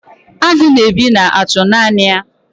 agụ na-ebi na-achụ naanị ya.